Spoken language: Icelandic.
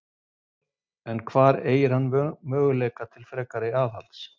En hvar eygir hann möguleika til frekara aðhalds?